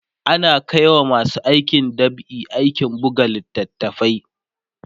ana Kai wa masu aikin dab'i aikin buga littatafai